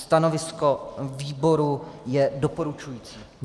Stanovisko výboru je doporučující.